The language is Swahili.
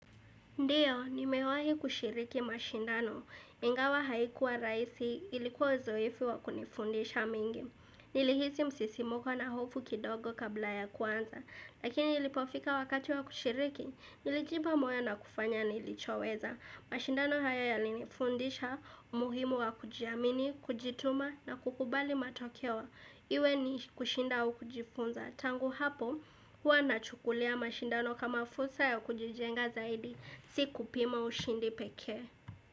Ndiyo, nimewahi kushiriki mashindano, ingawa haikuwa rahisi ilikuwa zoedu wa kunifundisha mengi. Nilihisi msisimuko na hofu kidogo kabla ya kuanza, lakini ilipofika wakati wa kushiriki, nilijipa moyo na kufanya nilichoweza. Mashindano haya yalinifundisha, umuhimu wa kujiamini, kujituma na kukubali matokeo. Iwe ni kushinda au kujifunza. Tangu hapo, huwa nachukulia mashindano kama fursa ya kujijenga zaidi. Si kupima ushindi pekee.